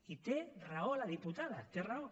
i té raó la diputada té raó